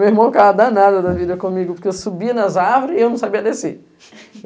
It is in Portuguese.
Meu irmão estava danado da vida comigo, porque eu subia nas árvores e eu não sabia descer.